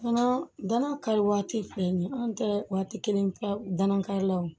Danaya kari waati filɛ nin anw tɛ waati kelen danaw